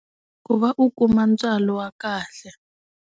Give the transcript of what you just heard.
Ku va u kuma ntswalo wa kahle.